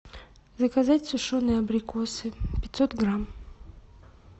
заказать сушеные абрикосы пятьсот грамм